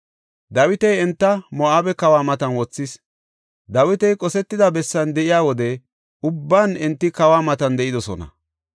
Dawiti enta Moo7abe kawa matan wothis; Dawiti qosetida bessan de7iya wode ubban enti kawa matan de7idosona.